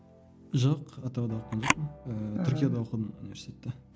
жоқ атырауда оқыған жоқпын ыыы түркияда оқыдым университетті